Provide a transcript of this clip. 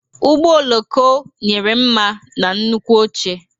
Ụgbọ oloko nyere mma na nnukwu oche.